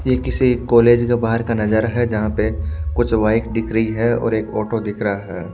के किसी कॉलेज का बाहर का नजारा है जहां पे कुछ बाइक दिख रही है और एक ओटो दिख रहा है।